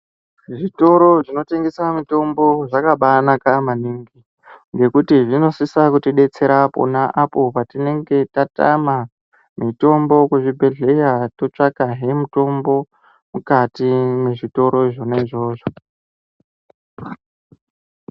Zvitoro zvinotengesa mitombo zvakabaanaka maningi ngekuti zvinosisa kutibetsera pona apo patinenge tatama mitombo kuzvibhedhlera totsvakahe mitombo mukati mwezvitoro izvona izvozvo.